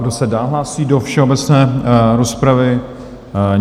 Kdo se dál hlásí do všeobecné rozpravy?